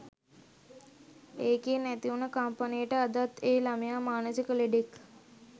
එකෙන් ඇතිවුන කම්පනයට අදත් ඒ ළමයා මානසික ලෙඩෙක්